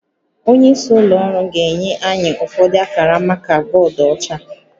Onye isi ụlọ ọrụ ga-enye anyị ụfọdụ akara maka bọọdụ ọcha